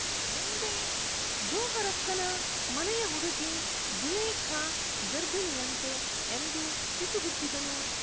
ಬಂದೆ ಜೋಹರಕ್ಕನ ಮನೆಯ ಹುಡುಗಿ ಜುಲೇಖಾ ಗರ್ಭಿಣಿಯಂತೆ ಎಂದು ಪಿಸುಗುಟ್ಟಿದನು